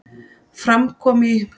Fram kom í